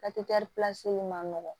man nɔgɔn